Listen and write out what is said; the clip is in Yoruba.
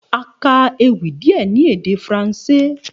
A ka ewì díè ní èdè faransé